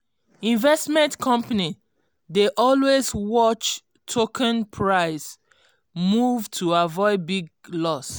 investment company dey always watch token price move to avoid big loss